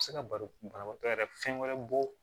Se ka balo banabaatɔ yɛrɛ fɛn wɛrɛ bɔ